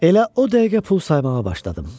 Elə o dəqiqə pul saymağa başladım.